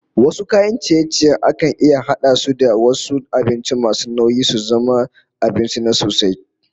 Wasu kayan ciye-ciyen akan iya hada su da wasu abincin masu nauyi su zama abinci na sosai